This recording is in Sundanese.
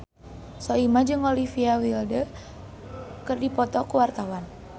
Soimah jeung Olivia Wilde keur dipoto ku wartawan